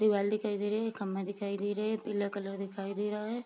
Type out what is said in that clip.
दीवाल दिखाई दे रहे खम्भा दिखाई दे रहे पीला कलर दिखाई दे रहा है ।